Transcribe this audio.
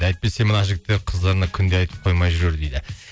әйтпесе мына жігіттер қыздарына күнде айтып қоймай жүрер дейді